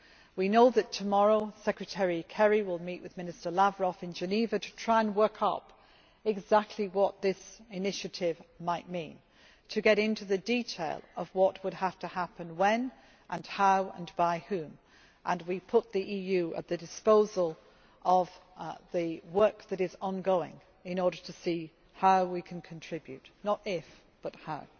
We know that tomorrow Secretary Kerry will meet with Minister Lavrov in Geneva to try to work out exactly what this initiative might mean and to go into the detail of what would have to happen when, how and by whom. We put the EU at the disposal of the work that is ongoing in order to see how we can contribute not if, but how.